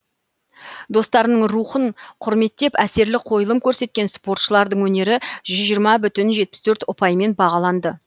достарының рухын құрметтеп әсерлі қойылым көрсеткен спортшылардың өнері ұпаймен бағаланды